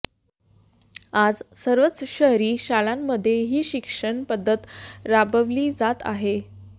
आज सर्वच शहरी शाळांमध्ये ही शिक्षण पद्धत राबवली जात आहे